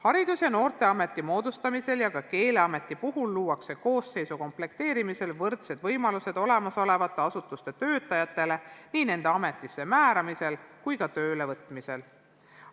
Haridus- ja Noorteameti moodustamisel ja ka Keeleameti puhul luuakse koosseisu komplekteerimisel võrdsed võimalused olemasolevate asutuste töötajatele nii nende ametisse määramisel kui ka töölevõtmisel.